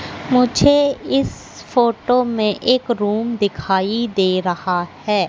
मुझे इस फोटो में एक रूम दिखाई दे रहा है।